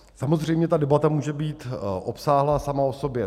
Samozřejmě ta debata může být obsáhlá sama o sobě.